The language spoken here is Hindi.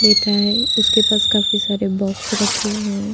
बेटा है उसके पास काफी सारे बोक्स रखे हुए हैं --